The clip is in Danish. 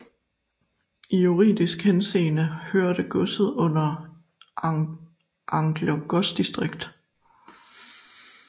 I juridisk henseende hørte godset under Angler godsdistrikt